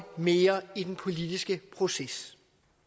mere i den politiske proces